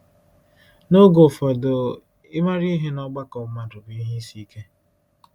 N’oge ụfọdụ, ịmara ihe n’ọgbakọ mmadụ bụ ihe isi ike.